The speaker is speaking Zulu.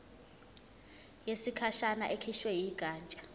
yesikhashana ekhishwe yigatsha